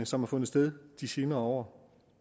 som har fundet sted de senere år